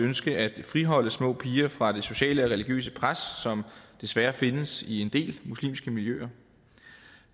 ønske at friholde små piger fra det sociale eller religiøse pres som desværre findes i en del muslimske miljøer